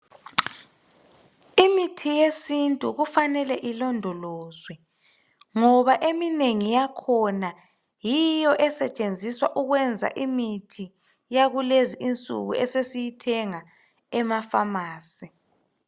Imithi yesintu kufanele ilondolozwe ngoba eminengi yakhona ,yiyo esetshenziswa ukwenza imithi yakulezi insuku esesiyithenga emafamasi.